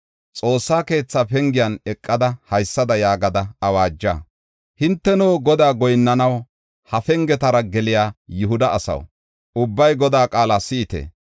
“Xoossa keetha pengiyan eqada, haysada yaagada awaaja. Hinteno, Godaa goyinnanaw ha pengetara geliya Yihuda asaw, ubbay Godaa qaala si7ite!